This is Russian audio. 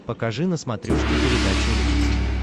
покажи на смотрешке передачу рубль ти ви